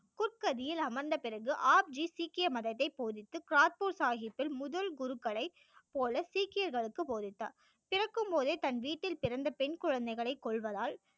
புற்கதியில் அமர்ந்த பிறகு ஆப் ஜி சீக்கிய மதத்தை போதித்து காபூர் சாகிபில் முதல் குருக்களை போல சீக்கியர்களுக்கு போதித்தார் பிறக்கும் போதே தனது வீட்டில் பிறந்த பெண் குழந்தைகளை கொல்வதால்